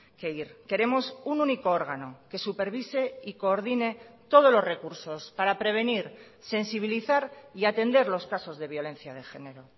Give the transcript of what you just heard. que ir queremos un único órgano que supervise y coordine todos los recursos para prevenir sensibilizar y atender los casos de violencia de género